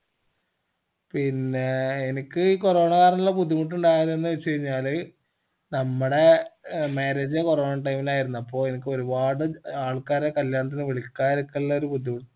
പിന്നെ എനിക്ക് ഈ corona കാർണുള്ള ബുദ്ധിമുട്ട് ഉണ്ടായത് എന്തെന്ന് വെച്ചാഴിഞ്ഞാല് നമ്മടെ marriage corona time ഇൽ ആർന്നു അപ്പൊ എനിക്ക് ഒരുപാട് ആൾക്കാരെ കല്യാണത്തിന് വിളിക്കാതിക്കള്ള ബുദ്ധിമുട്ട്